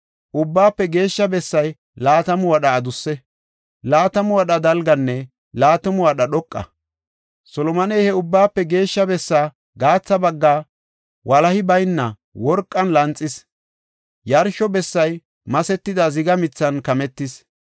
Ubbaafe Geeshsha bessay laatamu wadha adusse, laatamu wadha dalganne laatamu wadha dhoqa. Solomoney he Ubbaafe Geshsha bessaa gaatha baggaa walahi bayna worqen lanxis; yarsho bessay masetida ziga mithan kametis.